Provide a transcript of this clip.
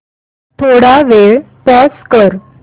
थोडा वेळ पॉझ कर